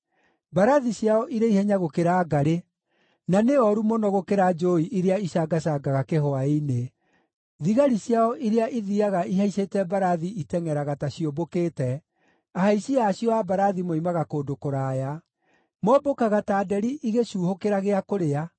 Mbarathi ciao irĩ ihenya gũkĩra ngarĩ, na nĩ ooru mũno gũkĩra njũũi iria icangacangaga kĩhwaĩ-inĩ. Thigari ciao iria ithiiaga ihaicĩte mbarathi itengʼeraga ta ciũmbũkĩte; ahaici acio a mbarathi moimaga kũndũ kũraya. Mombũkaga ta nderi ĩgĩcuuhũkĩra gĩa kũrĩa;